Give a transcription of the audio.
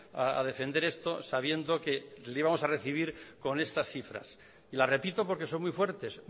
a defender esto sabiendo que le íbamos a recibir con estas cifras y las repito porque son muy fuertes